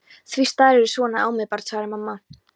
Því starirðu svona á mig barn? spurði mamma.